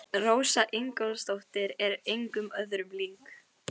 En hann gaf ekkert út á það.